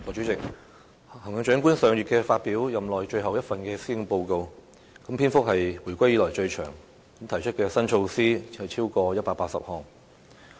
代理主席，行政長官上月發表任內最後一份施政報告，篇幅是自回歸以來最長的，提出的新措施超過180項。